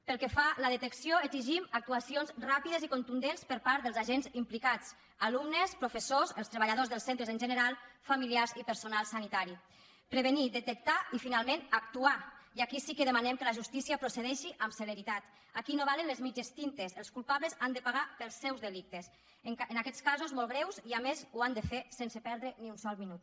pel que fa a la detecció exigim actuacions ràpides i contundents per part dels agents implicats alumnes professors els treballadors dels centres en general familiars i personal sanitari prevenir detectar i finalment actuar i aquí sí que demanem que la justícia procedeixi amb celeritat aquí no valen les mitges tintes els culpables han de pagar pels seus delictes en aquests casos molt greus i a més ho han de fer sense perdre ni un sol minut